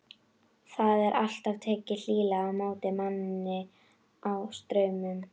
Það er alltaf tekið hlýlega á móti manni á Straumum.